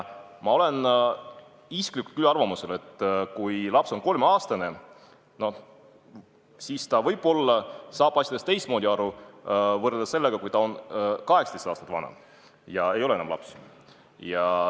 Ma olen isiklikult küll arvamusel, et kui laps on 3-aastane, siis ta saab asjadest teistmoodi võrreldes sellega, kui ta on 18 aastat vana ega ole enam laps.